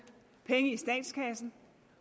penge i statskassen